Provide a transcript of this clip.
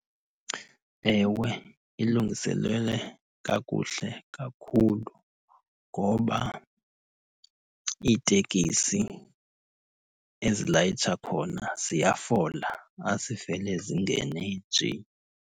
Ewe, ilungiselelwe kakuhle kakhulu ngoba iitekisi ezilayitsha khona ziyafola, azivele zingene nje.